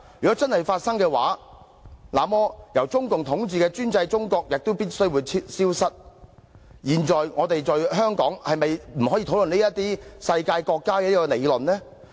若真的會發生，那麼由中共統治的專制中國也必會消失，現在我們在香港是否就不可以討論"世界國家"這個理論呢？